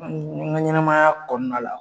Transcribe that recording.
N ka ɲɛnamaya kɔnɔna la.